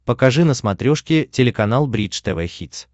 покажи на смотрешке телеканал бридж тв хитс